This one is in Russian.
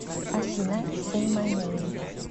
афина сэй май нэйм